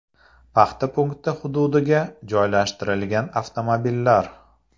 Paxta punkti hududiga joylashtirilgan avtomobillar.